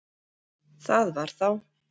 Það var þá!